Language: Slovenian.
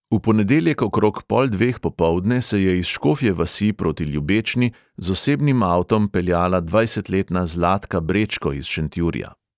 V ponedeljek okrog pol dveh popoldne se je iz škofje vasi proti ljubečni z osebnim avtom peljala dvajsetletna zlatka brečko iz šentjurja.